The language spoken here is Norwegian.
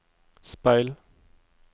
speil